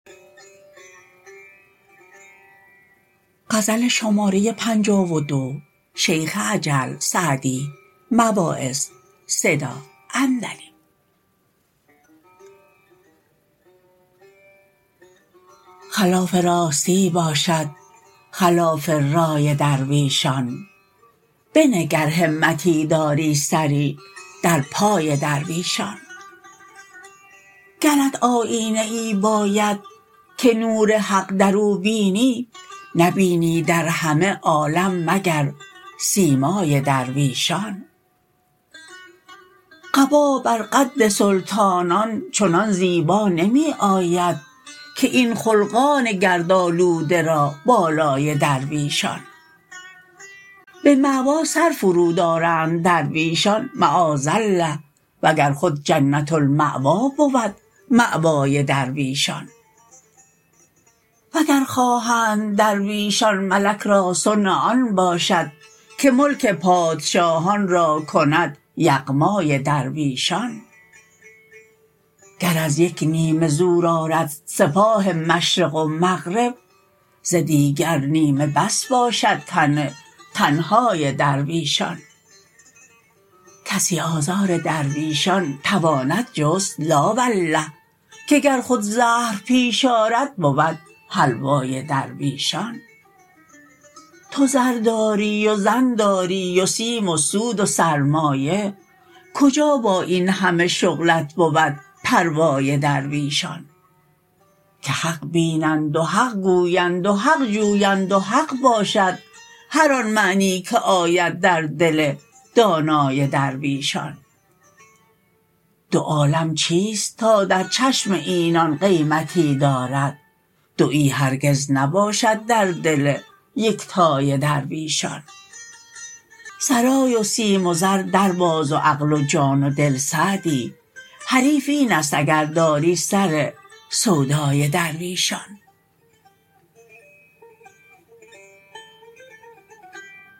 خلاف راستی باشد خلاف رای درویشان بنه گر همتی داری سری در پای درویشان گرت آیینه ای باید که نور حق در او بینی نبینی در همه عالم مگر سیمای درویشان قبا بر قد سلطانان چنان زیبا نمی آید که این خلقان گردآلوده را بالای درویشان به مأوی سر فرود آرند درویشان معاذ الله وگر خود جنت المأوی بود مأوای درویشان وگر خواهند درویشان ملک را صنع آن باشد که ملک پادشاهان را کند یغمای درویشان گر از یک نیمه زور آرد سپاه مشرق و مغرب ز دیگر نیمه بس باشد تن تنهای درویشان کسی آزار درویشان تواند جست لا والله که گر خود زهر پیش آرد بود حلوای درویشان تو زر داری و زن داری و سیم و سود و سرمایه کجا با این همه شغلت بود پروای درویشان که حق بینند و حق گویند و حق جویند و حق باشد هر آن معنی که آید در دل دانای درویشان دو عالم چیست تا در چشم اینان قیمتی دارد دویی هرگز نباشد در دل یکتای درویشان سرای و سیم و زر در باز و عقل و جان و دل سعدی حریف این است اگر داری سر سودای درویشان